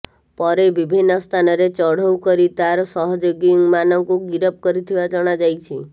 ପରେ ବିଭିନ୍ନ ସ୍ଥାନରେ ଚଢ଼ଉ କରି ତାର ସହଯୋଗୀମାନଙ୍କୁ ଗିରଫ କରିଥିବା ଜଣାଯାଇଛି